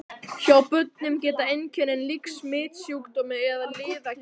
Hjá börnum geta einkennin líkst smitsjúkdómi eða liðagigt.